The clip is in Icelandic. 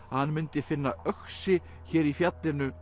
að hann mundi finna öxi hér í fjallinu